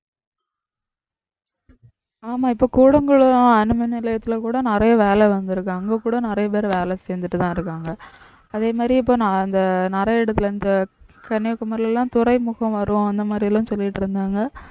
ஆமா இப்ப கூடங்குளம் அணுமின் நிலையத்தில கூட நிறைய வேலை வந்திருக்கு அங்க கூட நிறைய பேர் வேலை செஞ்சுட்டுதான் இருக்காங்க அதே மாதிரி இப்ப நான் அந்த நிறைய இடத்தில இந்த கன்னியாகுமரியில எல்லாம் துறைமுகம் வரும் அந்த மாதிரி எல்லாம் சொல்லிட்டு இருந்தாங்க